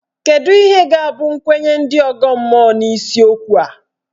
Kedụ ihe ga-abụ nkwenye ndị ọgọ mmụọ n'isiokwu a?